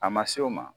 A ma s'o ma